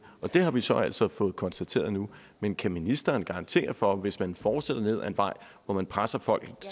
og det har vi så altså fået konstateret nu men kan ministeren garantere for at man hvis man fortsætter ned ad en vej hvor man presser folk